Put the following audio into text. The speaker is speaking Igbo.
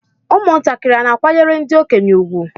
Ụmụntakịrị hà na-akwanyere ndị okenye ha ùgwù?